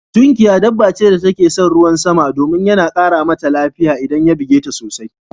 Tunkiya dabba ce wacce take son ruwan sama domin yana ƙara Mata lafiya idan ya buge ta sosai